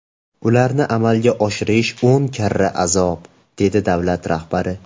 Ularni amalga oshirish o‘n karra azob”, - dedi davlat rahbari.